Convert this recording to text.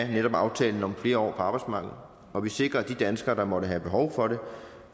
i netop aftalen om flere år på arbejdsmarkedet og vi sikrer at de danskere der måtte have behov for det